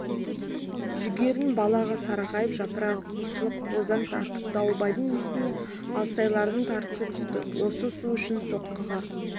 жүгерінің балағы сарғайып жапырағы қусырылып бозаң тартыпты дауылбайдың есіне алсайлардың тарысы түсті осы су үшін соққыға